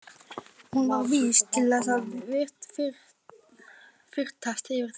Hún var vís til þess að fyrtast yfir því.